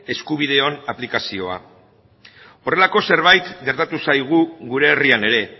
eskubideen aplikazioa horrelako zerbait gertatu zaigu gure herrian ere